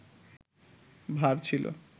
ভার ছিল